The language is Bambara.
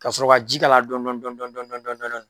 Ka sɔrɔ ka ji k'a la dɔɔni dɔɔni dɔɔni dɔɔni